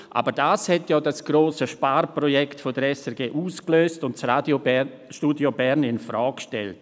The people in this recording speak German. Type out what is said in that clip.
Aber dies hat das grosse Sparprojekt der SRG ausgelöst und das Radiostudio Bern infrage gestellt.